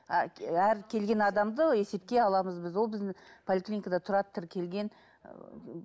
әр келген адамды есепке аламыз біз ол біз поликлиникада тұрады тіркелген ыыы